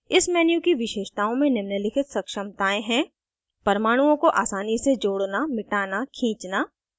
इस menu की विशेषताओं में निम्नलिखित सक्षमतायें हैं परमाणुओं को आसानी से जोड़ना मिटाना खींचना